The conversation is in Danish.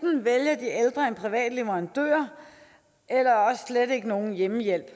privat leverandør eller også slet ikke nogen hjemmehjælp